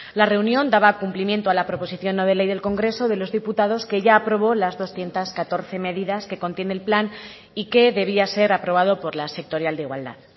la reunión daba cumplimiento a la proposición no de ley del congreso de los diputados que ya aprobó las doscientos catorce medidas que contiene el plan y que debía ser aprobado por la sectorial de igualdad